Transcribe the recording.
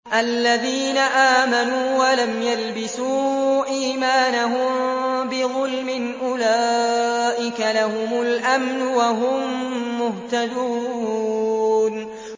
الَّذِينَ آمَنُوا وَلَمْ يَلْبِسُوا إِيمَانَهُم بِظُلْمٍ أُولَٰئِكَ لَهُمُ الْأَمْنُ وَهُم مُّهْتَدُونَ